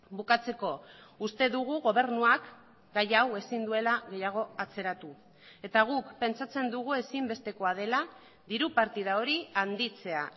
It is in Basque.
bukatzeko uste dugu gobernuak gai hau ezin duela gehiago atzeratu eta guk pentsatzen dugu ezinbestekoa dela diru partida hori handitzea